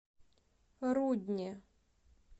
рудне